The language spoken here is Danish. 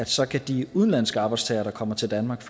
så kan de udenlandske arbejdstagere der kommer til danmark